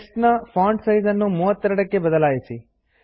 text ನ font size ನ್ನು 32 ಗೆ ಬದಲಾಯಿಸಿ